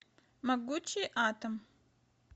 могучий атом